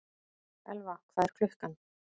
Elfa, hvað er klukkan?